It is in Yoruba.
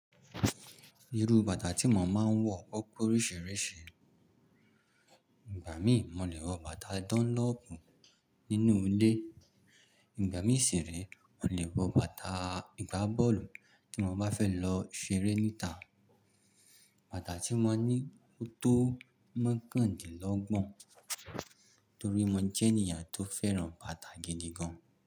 Irú bàtà tí mo máa ń wọ o pe oríṣiriṣi. Ìgbà mí mo lè wọ bàtà dọ́nlọ̀pù nínú ilé, ìgbà mí sì re mo lè wọ bàtà igbábọ́ọ̀lù tí mo bá fẹ́ lọ ṣeré níta. Bàtà tí mo ní ó tó mokàndínlọ́gbọ̀n torí mo jẹ́ ènìyàn tó fẹ́ràn bàtà gidi gan.